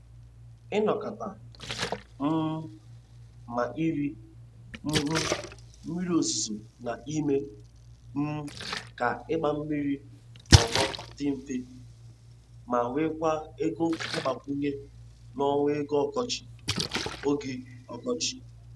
Ịnakọta um ma ire um mmiri ozuzo na-eme um ka ịgba mmiri n’ugbo dị mfe, ma nwekwa ego mgbakwunye n’ọnwa oge ọkọchị. oge ọkọchị.